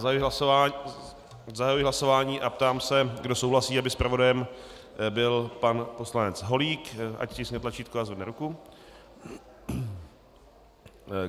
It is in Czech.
Zahajuji hlasování a ptám se, kdo souhlasí, aby zpravodajem byl pan poslanec Holík, ať stiskne tlačítko a zvedne ruku.